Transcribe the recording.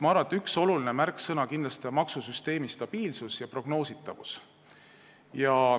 Ma arvan, et üks olulisi märksõnu on kindlasti maksusüsteemi stabiilsus ja prognoositavus.